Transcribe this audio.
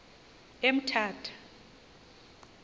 emthatha